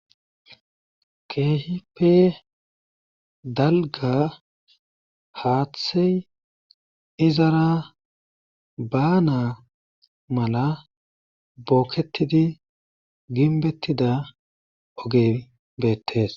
Keehippe dalgga haaththey izara baanaa mala bookettidi gimbbettida oge beettes.